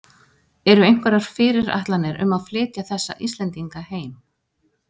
Eru einhverjar fyrirætlanir um að flytja þessa Íslendinga heim?